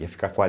Ia ficar qua